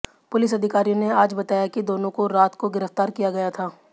police अधिकारियों ने आज बताया कि दोनों को रात को गिरफ्तार किया गया था